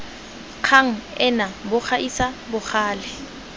kgang ena bo gaisa bogale